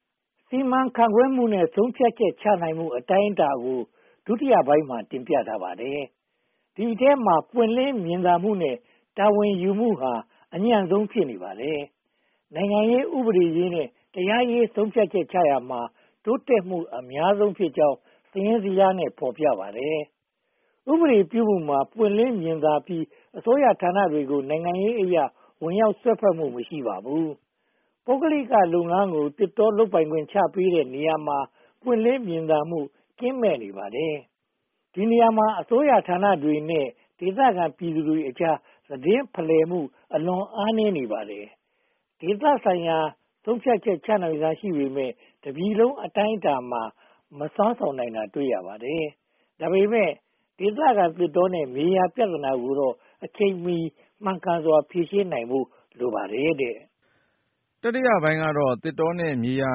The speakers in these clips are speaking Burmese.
။ စီမံခန့်ခွဲမှုနဲ့ ဆုံးဖြတ်ချက်ချနိုင်မှု အတိုင်းအတာကို ဒုတိယပိုင်းမှာ တင်ပြထားပါတယ်။ ဒီအထဲမှာ ပွင့်လင်းမြင်သာမှုနဲ့ တာဝန်ယူမှုဟာ အညံ့ဆုံးဖြစ်နေပါတယ်။ နိုင်ငံရေး၊ ဥပဒေရေးနဲ့ တရားရေး ဆုံးဖြတ်ချက်ချရာမှာ တိုးတက်မှုအများဆုံးဖြစ်ကြောင်း စာရင်းဇယားနဲ့ ဖော်ပြထားပါတယ်။ ဥပဒေပြုမှုမှာ ပွင့်လင်းမြင်သာပြီး အစိုးရဌာနတွေကို နိုင်ငံရေးအရ ဝင်ရောက်စွက်ဖက်မှု မရှိပါဘူး။ ပုဂ္ဂလိကလုပ်ငန်းကို သစ်တောလုပ်ပိုင်ခွင့် ချပေးတဲ့နေရာမှာ ပွင့်လင်းမြင်သာမှု ကင်းမဲ့နေပါတယ်။ ဒီနေရာမှာ အစိုးရဌာနတွေနဲ့ ဒေသခံပြည်သူတွေကြား သတင်းဖလှယ်မှု အလွန်အားနည်းနေပါတယ်။ ဒေသဆိုင်ရာမှာ ဆုံးဖြတ်ချက်ချနိုင်စွမ်း ရှိပေမယ့် တပြည်လုံးအတိုင်းအတာမှာ မစွမ်းဆောင်နိုင်တာတွေ တွေ့ရပါတယ်။ ဒါပေမဲ့ ဒေသခံသစ်တောနဲ့ မြေယာပြဿနာတွေကိုတော့ အချိန်မီ မှန်ကန်စွာ ဖြေရှင်းနိုင်ဖို့ လိုအပ်ပါတယ်။ တတိယပိုင်းကတော့ သစ်တောနဲ့ မြေယာ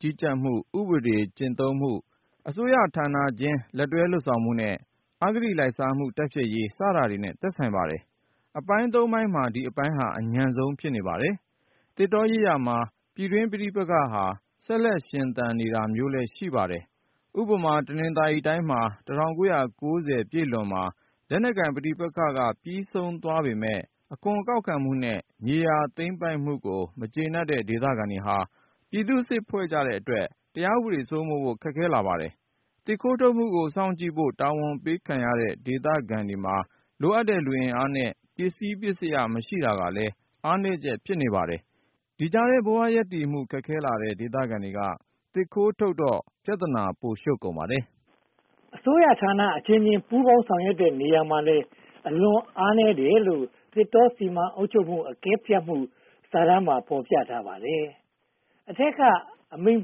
ကြီးကြပ်မှု၊ ဥပဒေကျင့်သုံးမှု၊ အစိုးရဌာနချင်း လက်တွဲလုပ်ဆောင်မှုနဲ့ အဂတိလိုက်စားမှု တိုက်ဖျက်ေ်ရး စတာတွေနဲ့ ဆိုင်ပါတယ်။ အပိုင်း (၃) ပိုင်းမှာ ဒီအပိုင်းက အညံ့ဆုံး ဖြစ်ပါတယ်။ သစ်တောရေးရာမှာ ပြည်တွင်းပဋိပက္ခ ဆက်လက်ရှင်သန်နေတာမျိုးလည်း ရှိပါတယ်။ ဥပမာ တနင်္သာရီတိုင်းမှာ ၁၉၉၀ ပြည့်လွန်မှာ လက်နက်ပဋိပက္ခတွေ ပြီးဆုံးသွားပေမယ့် အခွန်ကောက်ခံမှုနဲ့ မြေယာသိမ်းပိုက်မှုတွေကို မကျေနပ်တဲ့ဒေသခံတွေက ပြည်သူ့စစ်ဖွဲ့ကြတဲ့အတွက် တရားဥပဒေ စိုးမိုးဖို့ ခက်ခဲလာပါတယ်။ သစ်ခိုးထုတ်မှုကို စောင့်ကြည့်ဖို့ တာဝန်ပေးခံရတဲ့ ဒေသခံတွေမှာ လိုအပ်တဲ့ လူအင်အားနဲ့ ပစ္စည်းပစ္စယ မရှိတာကလည်း အားနည်းချက် ဖြစ်ပါတယ်။ ဒီကြားထဲ ဘဝရပ်တည်မှု ခက်ခဲလာတဲ့ ဒေသခံတွေကလည်း သစ်ခိုးထုတ်တော့ ပြဿနာ ပိုရှုပ်ကုန်ပါတယ်။ အစိုးရဌာနအချင်းချင်း ပူးပေါင်းဆောင်ရွက်တဲ့နေရာမှာလည်း အလွန်အားနည်းတယ်လို့ သစ်တောစီမံအုပ်ချုပ်ရေးအကဲဖြတ်မှု စာတမ်းမှာ ဖော်ပြထားပါတယ်။ အထက်ကအမိန့်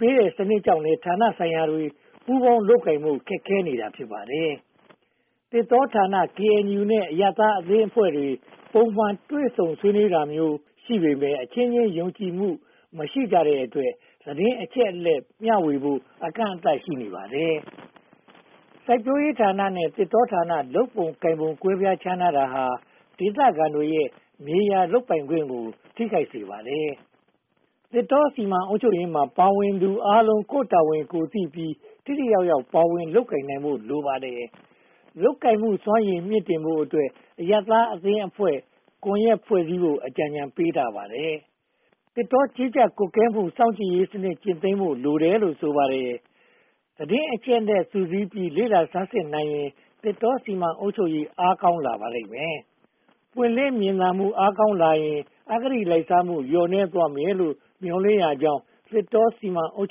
ပေးတဲ့ စနစ်ကြောင့်လည်း ဌာနဆိုင်ရာတွေ ပူးပေါင်းလုပ်ကိုင်ဖို့ ခက်ခဲနေတာ ဖြစ်ပါတယ်။ သစ်တောဌာန၊ ကေအင်ယူနဲ့ အရပ်သားအဖွဲ့အစည်းတွေ ပုံမှန်တွေ့ဆုံတာမျိုး ရှိပေမယ့် အချင်းချင်းယုံကြည်မှု မရှိတဲ့အတွက် သတင်းအချက်အလက်မျှဝေဖို့ အကန့်အသတ် ရှိနေပါတယ်။ စိုက်ပျိုးရေးဌာနဲ့ သစ်တောဌာန လုပ်ပုံလုပ်နည်း ကွဲပြားခြားနားတာဟာ ဒေသခံတွေရဲ့ မြေယာလုပ်ပိုင်ခွင့်ကို ထိခိုက်စေပါတယ်။ သစ်တောစီမံအုပ်ချုပ်ရေးမှာ ပါဝင်သူအားလုံး ကိုယ့်တာဝန်ကိုယ်သိပြီး ထိထိရောက်ရောက် ပါဝင်လုပ်ကိုင်နိုင်ဖို့ လိုအပ်ပါတယ်။ လုပ်ကိုင်မှုစွမ်းရည် မြှင့်တင်ဖို့အတွက် အရပ်သားအသင်းအဖွဲ့ ကွန်ရက်ဖွဲ့စည်းဖို့ အကြံပေးထားပါတယ်။ သစ်တောကြီးကြပ်ကွပ်ကဲမှု စောင့်ကြည့်ရေးစနစ်ကျင့်သုံးဖို့ လိုတယ်လို့ ဆိုပါတယ်။ သတင်းအချက်အလက် စုစည်းပြီး လေ့လာဆန်းစစ်နိုင်ရင် သစ်တောစီမံအုပ်ချုပ်ရေး အားကောင်းလာပါလိမ့်မယ်။ ပွင့်လင်းမြင်သာမှု အားကောင်းလာရင် အဂတိလိုက်စားမှု လျော့နည်းသွားမယ်လို့ မျှော်လင့်ကြောင်း သစ်တောစီမံအုပ်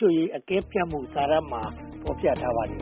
ချုပ်ရေး အကဲဖြတ်စစ်တမ်းမှာ ဖော်ပြထားပါတယ်